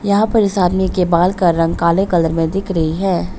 यहां पर इस आदमी के बाल का रंग काले कलर में दिख रही है।